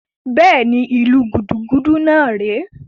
Bẹ́ẹ̀ni, ìlu gúdúgúdú náà rè é